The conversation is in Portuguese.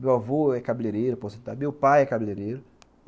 Meu avô é cabeleireiro, meu pai é cabeleireiro.